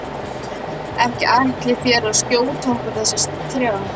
Ekki ætlið þér að skjóta okkur þessa þrjá?